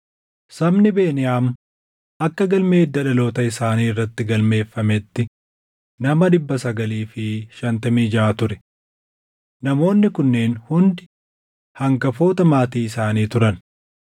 Sabni Beniyaam akka galmee hidda dhaloota isaanii irratti galmeeffametti nama 956 ture. Namoonni kunneen hundi hangafoota maatii isaanii turan.